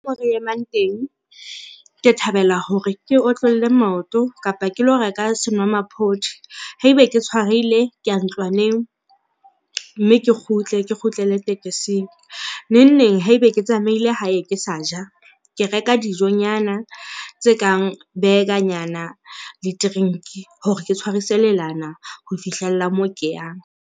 Moo re emang teng, ke thabela hore ke otlolle maoto kapa ke lo reka senwamaphodi. Haebe ke tshwarehile ke ya ntlwaneng mme ke kgutle, ke kgutlele tekesing. Nengneng haebe ke tsamaile hae ke sa ja, ke reka dijonyana tse kang burger-nyana le drink hore ke tshwarise lelana ho fihlella moo ke yang.